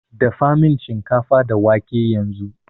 Dafamin shinkafa da wake yanzu